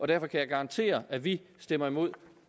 derfor kan jeg garantere at vi stemmer imod